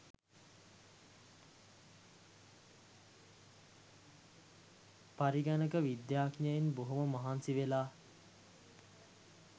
පරිගණක විද්‍යාඥයන් බොහොම මහන්සි වෙලා